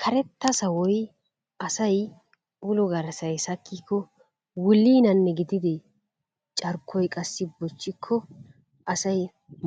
Karetta sawoy asay ulo garssay sakkikko wulliinanne gidide carkkoy qassi bochchikko asay